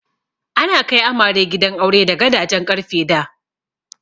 Ana kai amare gidan aure da gadajen ƙarfe da.